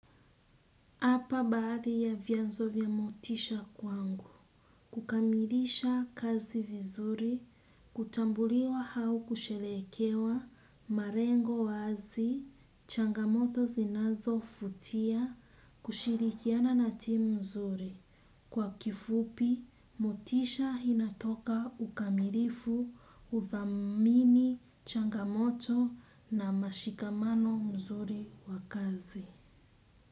Hapa baadhi ya vianzo vya motisha kwangu, kukamilisha kazi vizuri, kutambuliwa au kusherehekewa, malengo wazi, changamoto zinazovutia, kushirikiana na timu zuri. Kwa kifupi, motisha inatoka ukamilifu udhamini changamoto na mashikamano mzuri wa kazi.